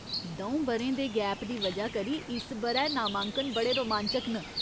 द'ऊं ब'रें दे गैप दी वजह करी इस ब'रै नामांकन बड़े रोमांचक न।